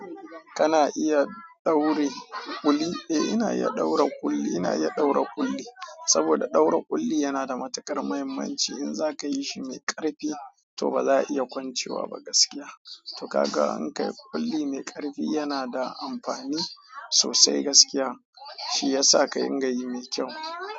Kana iya daure kuli? Eh ina iya daure kuli, ina iya daure kuli. Saboda daure kulli yanada matukar mahimmanci zaka yishi mai karfi to baza a iya kwancewa ba gaskiya to ka ga in ka yi kuli mai karfi yana da amfani sosai gaskiya, shi ya sa ka inga yi mai kyau.